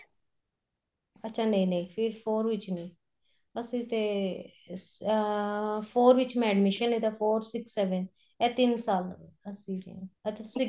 ਅੱਛਾ ਨਹੀਂ ਨਹੀਂ ਫ਼ਿਰ four ਵਿੱਚ ਨੀਂ ਅਸੀਂ ਤੇ ਅਹ four ਵਿੱਚ ਮੈਂ admission ਲੀਤਾ four six seven ਇਹ ਤਿੰਨ ਸਾਲ ਅਸੀਂ ਹਾਂ ਤੁਸੀਂ